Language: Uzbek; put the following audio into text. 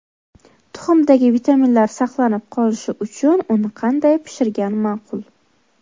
Tuxumdagi vitaminlar saqlab qolinishi uchun uni qanday pishirgan ma’qul?